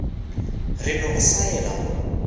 re no go swaela go